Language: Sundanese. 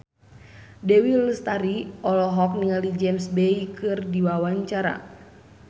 Dewi Lestari olohok ningali James Bay keur diwawancara